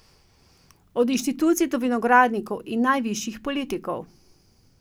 Od inštitucij do vinogradnikov in najvišjih politikov.